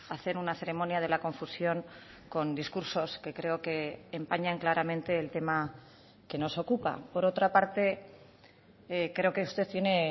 hacer una ceremonia de la confusión con discursos que creo que empañan claramente el tema que nos ocupa por otra parte creo que usted tiene